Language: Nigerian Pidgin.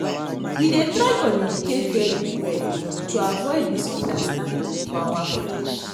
We dey try communicate very well to avoid misunderstanding for our friendship